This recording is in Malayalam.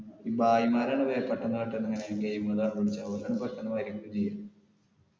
ഭായിമാരാണ് കാട്ടുന്നെ game പെട്ടന്ന് കാര്യങ്ങള് ചെയ്യും